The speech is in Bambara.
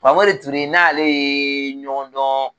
Famori Ture n n'ale ye ɲɔgɔn dɔn